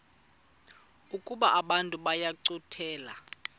ukuba abantu bayincothule